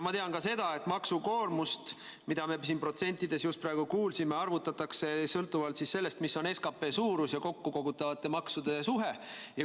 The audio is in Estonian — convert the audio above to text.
Ma tean ka seda, et maksukoormust, mida me siin protsentides just praegu kuulsime, arvutatakse sõltuvalt sellest, mis on SKP ja kokkukogutavate maksude suhe.